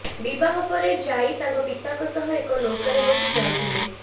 ବିବାହ ପରେ ଜାଈ ତାଙ୍କ ପିତାଙ୍କ ସହ ଏକ ନୌକାରେ ବସି ଯାଉଥିଲେ